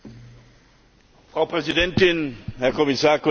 Frau Präsidentin, Herr Kommissar, Kolleginnen und Kollegen!